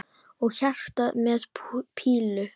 Og hjarta með pílu!